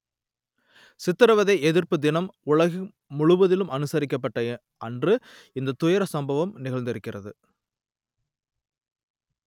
சித்திரவதை எதிர்ப்பு தினம் உலகம் முழுவதும் அனுசரிக்கப்பட்ட அன்று இந்த துயர சம்பவம் நிகழ்ந்திருக்கிறது